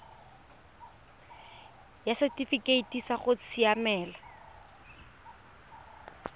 ya setifikeite sa go siamela